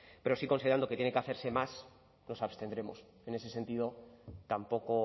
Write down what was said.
pero sí considerando que tiene que hacerse más nos abstendremos en ese sentido tampoco